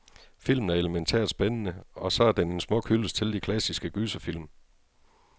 Filmen er elemæntært spændende, og så er den en smuk hyldest til de klassiske gyserfilm.